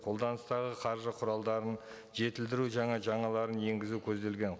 қолданыстағы қаржы құралдарын жетілдіру жаңа жаңаларын енгізу көзделген